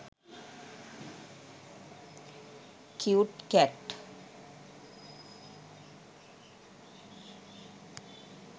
cute cat